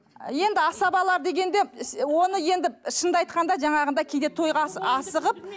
енді асабалар дегенде оны енді шынын да айтқанда жаңағында кейде тойға асығып